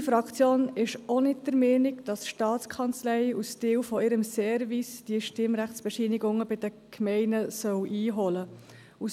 Unsere Fraktion ist auch nicht der Meinung, dass die STA als Teil ihres Services diese Stimmrechtsbescheinigungen bei den Gemeinden einholen soll.